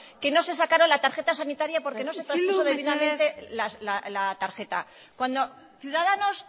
que no se sacaron la tarjeta sanitaria isildu mesedez porque no se traspuso debidamente la tarjeta cuando ciudadanos